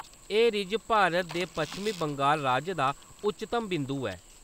एह्‌‌ रिज ते भारत दे पश्चिम बंगाल राज दा उच्चतम बिंदु ऐ।